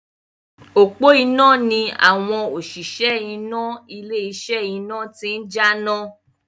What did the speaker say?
Òpó iná ni àwọn òṣìṣẹ́ iná ilé iṣẹ́ iná ti ń jáná.